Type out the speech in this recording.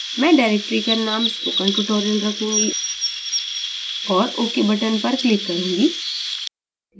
मैं directory का name spokentutorial रखूँगी और ok button पर click करूँगी